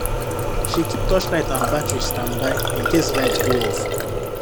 she keep torchlight and battery standby in case light go off